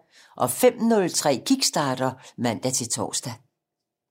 05:03: Kickstarter (man-tor)